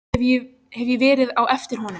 Hef ég verið á eftir honum?